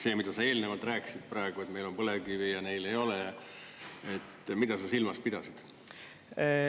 See, mida sa eelnevalt rääkisid praegu, et meil on põlevkivi ja neil ei ole – mida sa silmas pidasid?